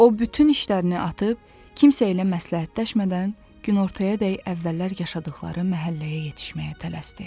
O bütün işlərini atıb, kimsə elə məsləhətləşmədən günortayadək əvvəllər yaşadığı məhəlləyə yetişməyə tələsdi.